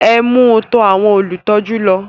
Ẹ mú u tọ àwọn olùtọ́jú lọ